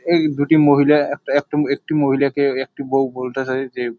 এই দুটি মহিলা একটা একটা একটি মহিলাকে একটি বউ বলতাছে-এ যে--